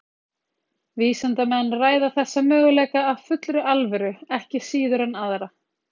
vísindamenn ræða þessa möguleika af fullri alvöru ekki síður en aðra